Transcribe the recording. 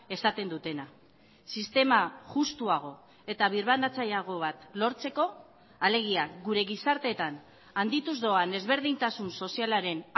esaten dutena sistema justuago eta birbanatzaileago bat lortzeko alegia gure gizarteetan handituz doan ezberdintasun sozialaren